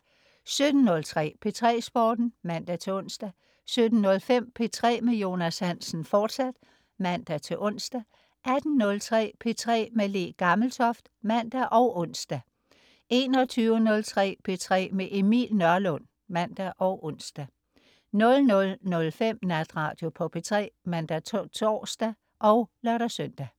17.03 P3 Sporten (man-ons) 17.05 P3 med Jonas Hansen, fortsat (man-ons) 18.03 P3 med Le Gammeltoft (man og ons) 21.03 P3 med Emil Nørlund (man og ons) 00.05 Natradio på P3 (man-tors og lør-søn)